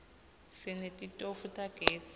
sinetitofu tagezi